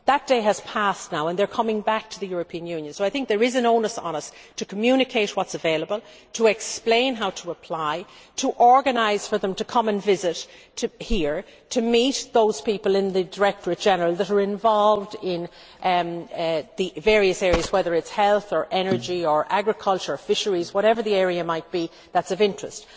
That day has passed now and they are coming back to the European Union, so I think there is an onus on us to communicate what is available, to explain how to apply, to organise for them to come here and visit, to meet those people in the Directorate General that are involved in the various areas, whether it is health or energy or agriculture or fisheries, whatever the area might be that is of interest.